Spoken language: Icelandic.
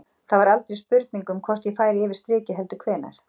Það var aldrei spurning um hvort ég færi yfir strikið heldur hvenær.